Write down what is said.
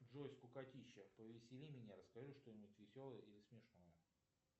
джой скукотища повесели меня расскажи что нибудь веселое или смешное